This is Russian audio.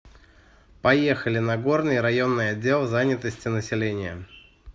поехали нагорный районный отдел занятости населения